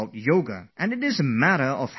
And this is a matter of joy to me